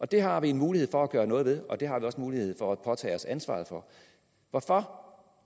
det har vi en mulighed for at gøre noget ved og det har vi også en mulighed for at påtage os ansvaret for hvorfor